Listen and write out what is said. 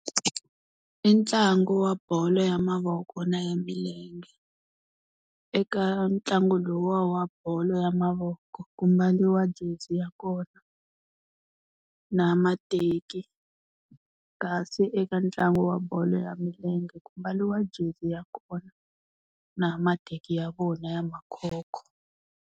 I ntlangu wa bolo ya mavoko na ya milenge. Eka ntlangu lowu wa bolo ya mavoko ku mbariwa jezi ya kona, na mateki. Kasi eka ntlangu wa bolo ya milenge ku mbariwa jezi ya kona na mateki ya vona ya makhokho.